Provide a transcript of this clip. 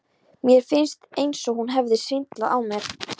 Mér fannst eins og hún hefði svindlað á mér.